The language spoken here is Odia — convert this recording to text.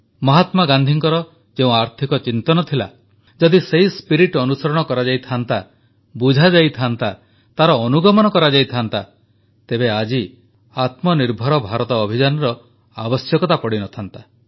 ମହାତ୍ମା ଗାନ୍ଧୀଙ୍କର ଯେଉଁ ଆର୍ଥିକ ଚିନ୍ତନ ଥିଲା ଯଦି ତାହା ଅନୁସରଣ କରାଯାଇଥାନ୍ତା ବୁଝାଯାଇଥାନ୍ତା ତାର ଅନୁଗମନ କରାଯାଇଥାନ୍ତା ତେବେ ଆଜି ଆତ୍ମନିର୍ଭର ଭାରତ ଅଭିଯାନର ଆବଶ୍ୟକତା ପଡ଼ିନଥାନ୍ତା